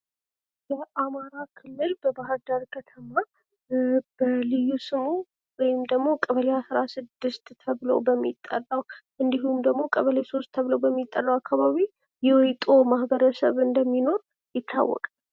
የአማራ ክልል በባህር ዳር ከተማ በልዩ ስሙ ወይም ቀበሌ 16 ተብሎ በሚጠራው እንዲሁም ቀበሌ 3 ተብሎ በሚጠራው አካባቢ የዎይጦ ማህበረሰብ እንደሚኖር ይታወቃል።